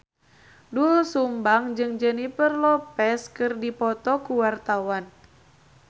Doel Sumbang jeung Jennifer Lopez keur dipoto ku wartawan